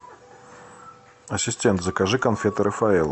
ассистент закажи конфеты рафаэлло